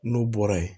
N'u bɔra yen